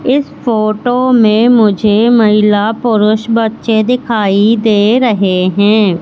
इस फोटो में मुझे महिला पुरुष बच्चे दिखाई दे रहे हैं।